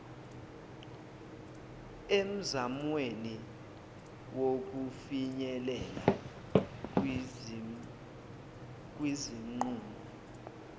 emzamweni wokufinyelela kwizinqumo